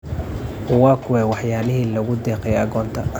Waa kuwee waxyaalihii loogu deeqay agoonta?